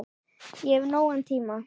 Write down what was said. Þá hef ég nógan tíma.